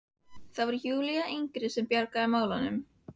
Það var Júlía yngri sem bjargaði málum.